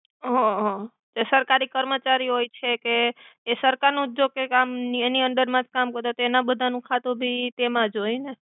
હ, હ સરકરી કર્મચરી હોય છે કે એ સરકાર નુ જોકે કામ નિ એની અંદર મા જ કામ તો તેના બધાનુ ખતુ તો ઇ એમા જ હોય ને.